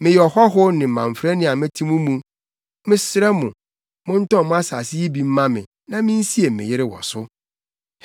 “Meyɛ ɔhɔho ne mamfrani a mete mo mu. Mesrɛ mo, montɔn mo asase yi bi mma me, na minsie me yere wɔ so.”